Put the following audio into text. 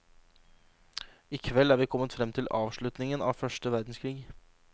I kveld er vi kommet frem til avslutningen av første verdenskrig.